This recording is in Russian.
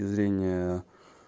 зрение